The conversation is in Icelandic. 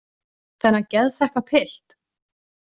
Þennan geðþekka pilt?